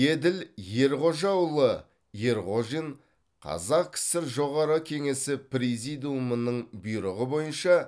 еділ ерғожаұлы ерғожин қазақ кср жоғары кеңесі президиумының бұйрығы бойынша